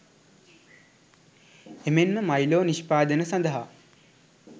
එමෙන්ම මයිලෝ නිෂ්පාදන සඳහා